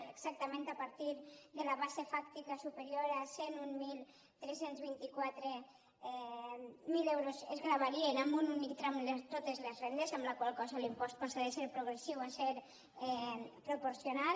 exactament a partir de la base fàctica superior a cent i mil tres cents i vint quatre euros es gravarien en un únic tram totes les rendes amb la qual cosa l’impost passa de ser progressiu a ser proporcional